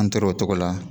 An tora o tɔgɔ la